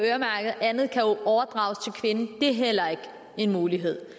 at andet kan overdrages til kvinden er heller ikke en mulighed